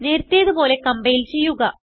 നേരത്തേതു പോലെ കംപൈൽ ചെയ്യുക